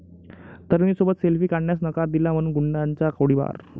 तरुणीसोबत selfie काढण्यास नकार दिला म्हणून गुंडाचा गोळीबार